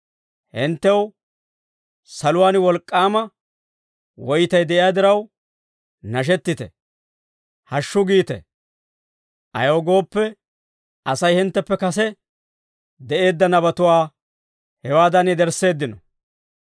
Hinttew saluwaan wolk'k'aama woytay de'iyaa diraw, nashettite; hashshu giite; ayaw gooppe, Asay hintteppe kase de'eedda nabatuwaa hewaadan yedersseeddino.